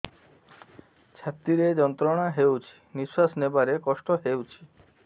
ଛାତି ରେ ଯନ୍ତ୍ରଣା ହେଉଛି ନିଶ୍ଵାସ ନେବାର କଷ୍ଟ ହେଉଛି